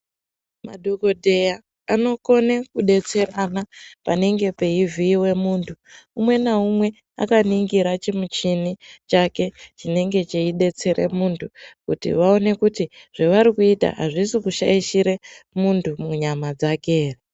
Madhokodheya anokone kudetserana panenge peivhiiwa munthu .Umwe naumwe akaningira chimuchini chake chinenge cheidetsera munthu kuti vaone kuti zvevari kuita azvisi kushaishira munthu munyama dzake ere.